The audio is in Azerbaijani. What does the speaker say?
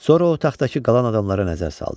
Sonra o taxtdakı qalan adamlara nəzər saldı.